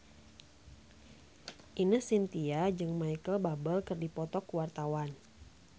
Ine Shintya jeung Micheal Bubble keur dipoto ku wartawan